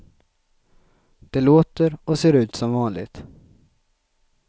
Det låter och ser ut som vanligt.